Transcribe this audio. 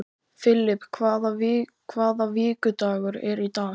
Filip, hvaða vikudagur er í dag?